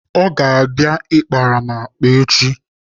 Ọ ga-abịa akpara m akpa echi.